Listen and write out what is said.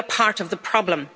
We are part of the problem.